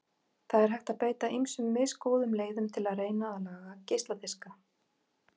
Það er hægt að beita ýmsum misgóðum leiðum til að reyna að laga geisladiska.